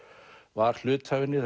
var hluti af henni